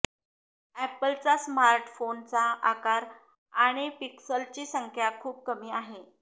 ऍपलचा स्मार्टफोनचा आकार आणि पिक्सलची संख्या खूप कमी आहे